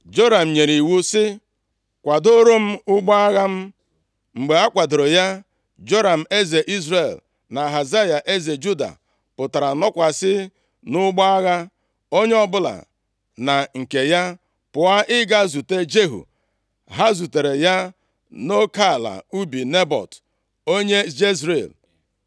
Joram nyere iwu sị, “Kwadooro m ụgbọ agha m.” Mgbe a kwadooro ya, Joram eze Izrel, na Ahazaya, eze Juda, pụtara nọkwasị nʼụgbọ agha, onye ọbụla na nke ya, pụọ ịga izute Jehu. Ha zutere ya nʼoke ala ubi Nebọt, onye Jezril.